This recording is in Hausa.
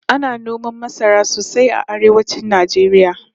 Ana noman masara sosai a arewacin Najeriya